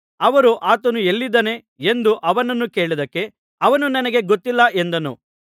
ಅವರು ಆತನು ಎಲ್ಲಿದ್ದಾನೆ ಎಂದು ಅವನನ್ನು ಕೇಳಿದ್ದಕ್ಕೆ ಅವನು ನನಗೆ ಗೊತ್ತಿಲ್ಲ ಎಂದನು